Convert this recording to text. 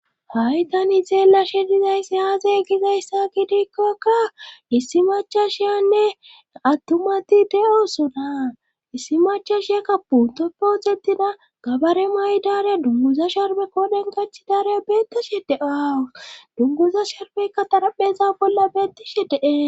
hay tani xeelashe dizayssi aaze gizayssa gidiikkokka issi machashiyanne attumati de7osona issi machashiyakka puntoppe wodetida gabare may7 daareya dunguza sharbe kooden kachi daareya beettashe de7awu dunguza sharbeykka tarapheza bolla beettishe de'es